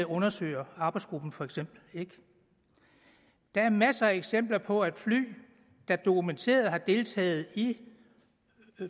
undersøger arbejdsgruppen for eksempel ikke der er masser af eksempler på at fly der dokumenteret har deltaget i